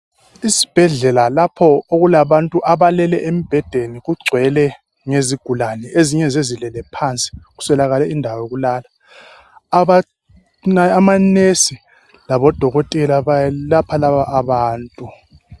Isibhedlela lapho okulabantu abalele embhedeni kugcwele ngezigulane. Ezinye zilele phansi kuswelakale indawo yokulala. Ama"nurse" labodokotela bayelapha laba abantu.